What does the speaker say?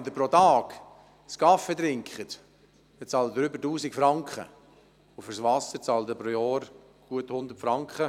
Wenn Sie pro Tag einen Kaffee trinken, bezahlen Sie mehr als 1000 Franken pro Jahr, für das Wasser aber rund 100 Franken.